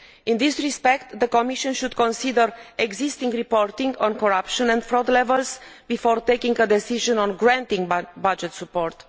In this regard, the Commission should consider the existing reporting on corruption and fraud levels before taking a decision on granting budget support.